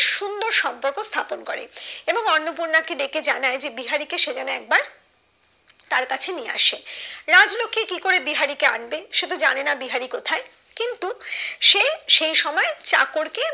সুন্দর সম্পর্ক স্থাপন করে এবং অন্নপূর্ণা কে ডেকে জানায় যে বিহারি কে সে যেন একবার তার কাছে নিয়ে আসে রাজলক্ষী কি করে বিহারি কে আনবে সে তো জানে না বিহারি কোথায় কিন্তুসে এই সময় চাকর কে